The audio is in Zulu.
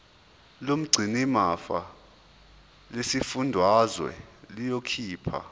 lomgcinimafa lesifundazwe liyokhipha